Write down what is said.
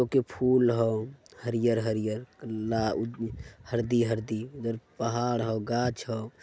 ओय के फूल हो हरिहर-हरिहर लाल हरदी-हरदी उधर पहाड़ हो गाछ हो।